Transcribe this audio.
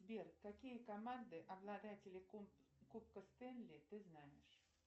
сбер какие команды обладатели кубка стэнли ты знаешь